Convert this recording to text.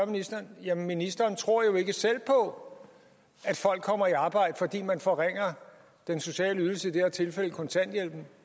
ministeren jamen ministeren tror jo ikke selv på at folk kommer i arbejde fordi man forringer den sociale ydelse i det her tilfælde kontanthjælpen